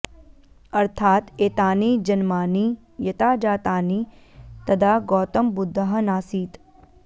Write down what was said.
अर्थात् एतानि जन्मानि यता जातानि तदा गौतमबुद्धः नासीत्